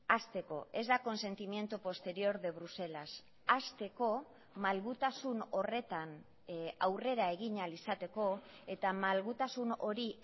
hasteko ez da consentimiento posterior de bruselas hasteko malgutasun horretan aurrera egin ahal izateko eta malgutasun hori